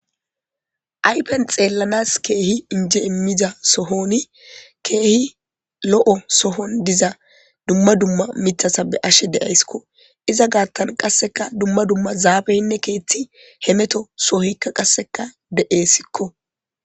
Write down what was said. aypen xeellanas keehi inje immiza sohoni keehi lo7o sohon diza dumma dumma mithasa be ashe de7ayskko iza gaattan qasseka dumma dumma zaabeyinne keeththi hemeto sohikka qasseka de7e sikko